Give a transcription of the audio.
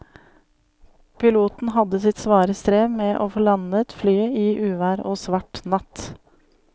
Piloten hadde sitt svare strev med å få landet flyet i uvær og svart natt.